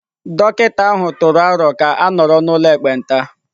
Dọkịta ahụ tụrụ aro ka a nọrọ n'ụlọ ekpenta?